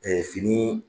fini